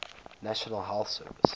national health service